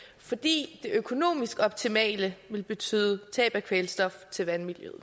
fordi det økonomisk optimale vil betyde tab af kvælstof til vandmiljøet